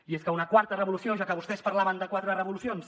i és que una quarta revolució ja que vostès parlaven de quatre revolucions